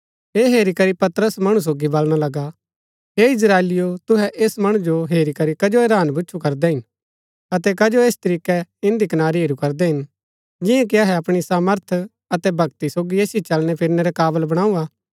ऐह हेरी करी पतरस मणु सोगी बलणा लगा हे इस्त्राएलिओ तुहै ऐस मणु जो हेरी करी कजो हैरान भूच्छु करदै हिन अतै कजो ऐस तरीकै इन्दी कनारी हेरू करदै हिन जिंआं कि अहै अपणी सामर्थ अतै भक्ति सोगी ऐसिओ चलणैफिरणै रै काबल बणाऊ हा